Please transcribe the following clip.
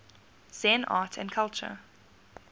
zen art and culture